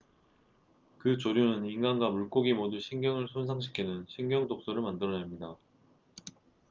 그 조류는 인간과 물고기 모두 신경을 손상시키는 신경독소를 만들어냅니다